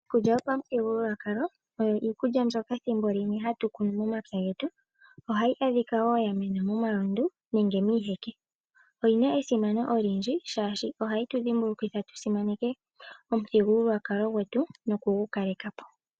Iikulya yo pamuthigululwakalo oyo iikulya mbyoka ethimbo limwe hatu kunu momapya getu, ohayi adhika wo yamena momalundu nenge miiheke. Oyina esimano olindji shashi ohayi tu dhimbulukitha tusimaneke omuthigululwakalo gwetu noku gu kalekapo.